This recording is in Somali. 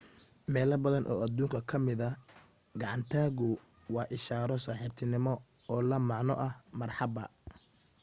meelo badan oo adduunka ka mida gacan taagu waa ishaaro saaxiibtinimo oo la macno ah marxabba